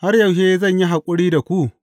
Har yaushe zan yi haƙuri da ku?